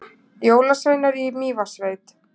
Jólasveinar í Mývatnssveit